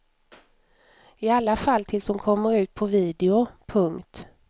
I alla fall tills hon kommer ut på video. punkt